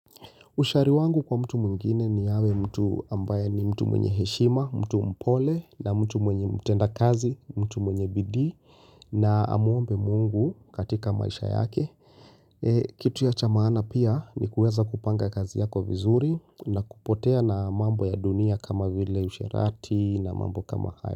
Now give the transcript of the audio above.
Ushauri wangu kwa mtu mwingine ni awe mtu ambaye ni mtu mwenye heshima, mtu mpole na mtu mwenye mtenda kazi, mtu mwenye bidii na amwombe mungu katika maisha yake. Kitu ya cha maana pia ni kuweza kupanga kazi yako vizuri na kupotea na mambo ya dunia kama vile usherati na mambo kama hayo.